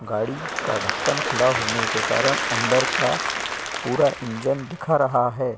गाड़ी का ढक्कन खुला होने कारण अंदर का पूरा इंजन दिख रहा है।